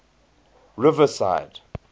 riverside